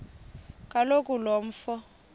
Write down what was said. kaloku lo mfo